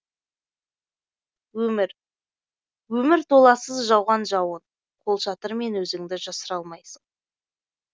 өмір өмір толассыз жауған жауын қолшатырмен өзіңді жасыра алмайсың